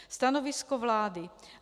Stanovisko vlády.